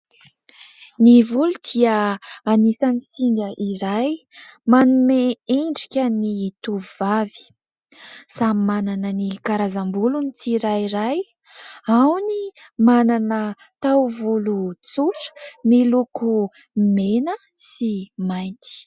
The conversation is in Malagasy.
Ny volo dia anisan'ny singa iray manome endrika ny tovovavy. Samy manana ny karazam-bolony ny tsirairay : ao ny manana taovolo tsotra miloko mena sy mainty.